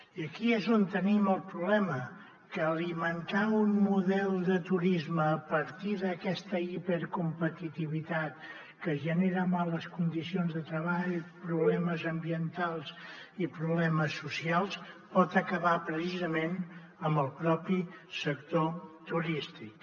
i aquí és on tenim el problema que alimentar un model de turisme a partir d’aquesta hipercompetitivitat que genera males condicions de treball problemes ambientals i problemes socials pot acabar precisament amb el propi sector turístic